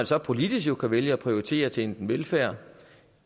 så politisk vælge at prioritere til enten velfærd